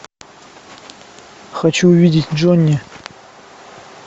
хочу увидеть джонни